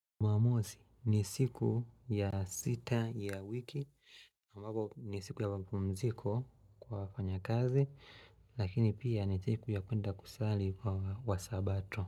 Jumamosi ni siku ya sita ya wiki ambapo ni siku ya mapumziko kwa wafanya kazi Lakini pia ni siku ya kuenda kusali kwa wasabato.